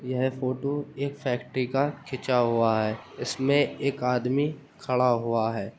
यह फोटो एक फैक्ट्री का खींचा हुआ है। इसमें एक आदमी खड़ा हुआ है।